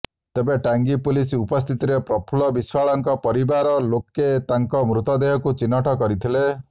ତେବେ ଟାଙ୍ଗୀ ପୁଲିସ୍ ଉପସ୍ଥିତିରେ ପ୍ରଫୁଲ୍ଲ ବିଶ୍ବାଳଙ୍କ ପରିବାର ଲୋକେ ତାଙ୍କ ମୃତଦେହକୁ ଚିହ୍ନଟ କରିଥିଲେ